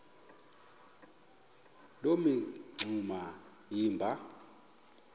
loo mingxuma iba